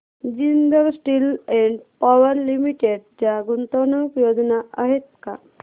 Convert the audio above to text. Jindal steel and power limited च्या गुंतवणूक योजना आहेत का